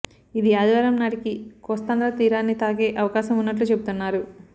ఇది ఆదివారం నాటికి కోస్తాంధ్ర తీరాన్ని తాకే అవకాశం ఉన్నట్లు చెబుతున్నారు